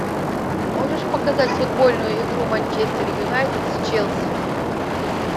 можешь показать футбольную игру манчестер юнайтед с челси